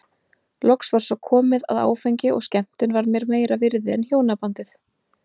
Loks var svo komið að áfengi og skemmtun varð mér meira virði en hjónabandið.